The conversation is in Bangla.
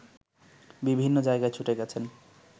বিভিন্ন জায়গায় ছুটে গেছেন